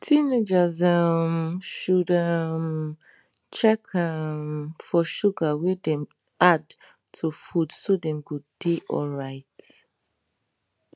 teenagers um should um check um for sugar wey dem add to food so dem go dey alright